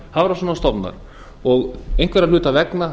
niður og einhverra hluta vegna